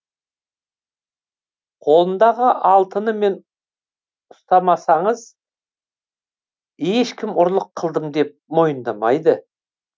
қолындағы алтынымен ұстамасаңыз ешкім ұрлық қылдым деп мойындамайды